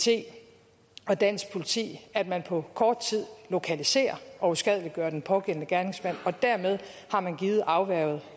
og dansk politi at man på kort tid lokaliserer og uskadeliggør den pågældende gerningsmand dermed har man givet afværget